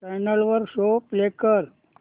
channel वर show play कर